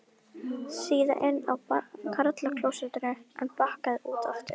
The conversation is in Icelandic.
Síðan inn á karlaklósett en bakkaði út aftur.